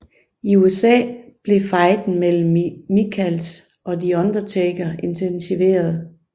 I USA blev fejden mellem Michaels og The Undertaker intensiveret